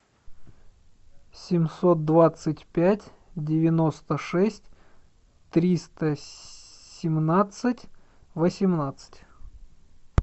семьсот двадцать пять девяносто шесть триста семнадцать восемнадцать